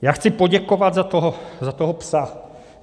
Já chci poděkovat za toho "psa".